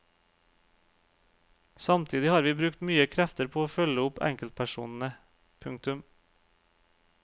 Samtidig har vi brukt mye krefter på å følge opp enkeltpersonene. punktum